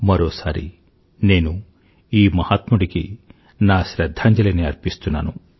మరోసారి నేను ఈ మహాత్ముడికి నా శ్రధ్ధాంజలిని అర్పిస్తున్నాను